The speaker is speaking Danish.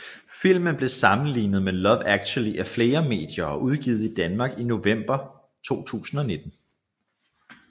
Filmen blev sammenlignet med Love Actually af flere medier og udgivet i Danmark i november 2019